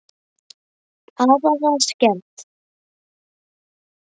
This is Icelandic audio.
Afa var skemmt.